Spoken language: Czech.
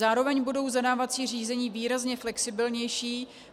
Zároveň budou zadávací řízení výrazně flexibilnější.